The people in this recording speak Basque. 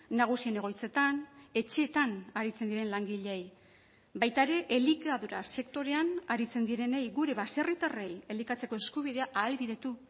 nagusien egoitzetan etxeetan aritzen diren langileei baita ere elikadura sektorean aritzen direnei gure baserritarrei elikatzeko eskubidea ahalbidetu